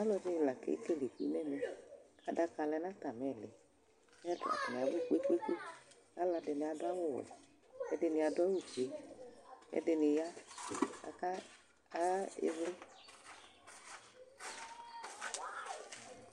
Ɔlɔdɩnɩ la kekele iku nʋ ɛmɛ kʋ adaka lɛ nʋ atamɩ ɩɩlɩ Ɛ atanɩ abʋ kpe-kpe-kpe Alʋɛdɩnɩ adʋ awʋwɛ kʋ ɛdɩnɩ adʋ awʋfue kʋ ɛdɩnɩ ya kʋ aka a ɩvlɩ